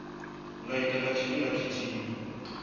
nga itwa nga tshifhinga tshithihi